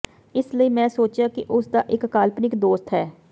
ਇਸ ਲਈ ਮੈਂ ਸੋਚਿਆ ਕਿ ਉਸ ਦਾ ਇਕ ਕਾਲਪਨਿਕ ਦੋਸਤ ਹੈ